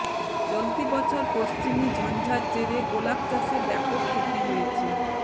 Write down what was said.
চলতি বছর পশ্চিমী ঝঞ্জার জেরে গোলাপ চাষে ব্যাপক ক্ষতি হয়েছে